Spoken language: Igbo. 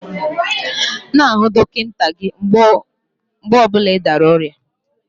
N'ahụ dọkịta gị mgbe ọ bụla ị dara n'oria5